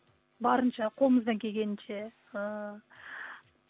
барынша қолымыздан келгенінше ііі